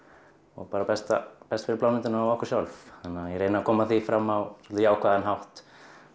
og bara best best fyrir plánetuna og okkur sjálf ég reyni að koma því fram á jákvæðan hátt